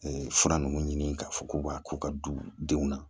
fura nunnu ɲini k'a fɔ k'u b'a ko ka du denw na